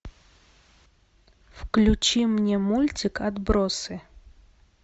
включи мне мультик отбросы